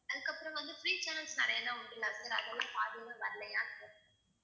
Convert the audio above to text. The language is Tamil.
அதுக்கப்புறம் வந்து free channels நிறையலாம் உண்டு இல்ல sir அதெல்லாம் பாதியில வரல